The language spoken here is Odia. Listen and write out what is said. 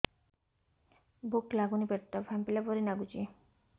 ଭୁକ ଲାଗୁନି ପେଟ ଟା ଫାମ୍ପିଲା ପରି ନାଗୁଚି